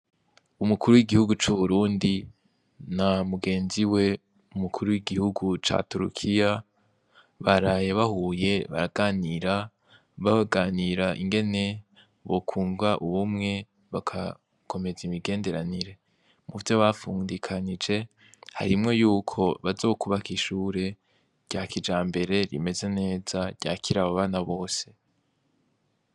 Umukuru w'igihugu c'uburundi na mugenzi we umukuru w'igihugu ca turukiya barahe bahuye baraganira baaganira ingene bokunva ubumwe bakakomeza imigenderanire mu vyo bafundikanije harimwo yuko bazo kubaka ishure ryakija mbere rimeze neza ryakira ababana bose.